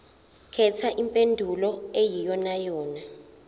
khetha impendulo eyiyonayona